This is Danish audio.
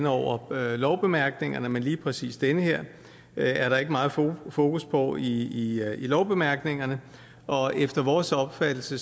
over lovbemærkningerne men lige præcis den her er der ikke meget fokus på i lovbemærkningerne og efter vores opfattelse